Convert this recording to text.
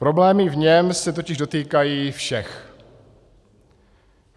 Problémy v něm se totiž dotýkají všech.